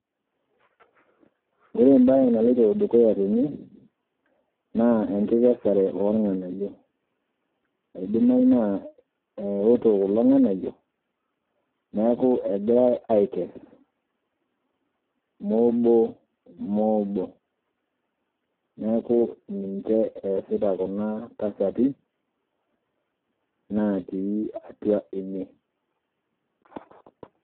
Ore embaye naloito dukuya tene naa enkikesare oolng'anayio. Eidimayu naa eoto kulo ng'anayio neaku egirai aikes moobo, moobo, neaku ninche easita kuna tasati naatii atua ene.